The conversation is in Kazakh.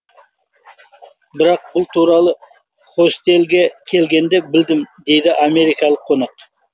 бірақ бұл туралы хостелге келгенде білдім дейді америкалық қонақ